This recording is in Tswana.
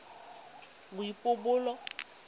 boipobolo